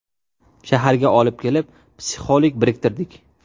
Shaharga olib kelib, psixolog biriktirdik.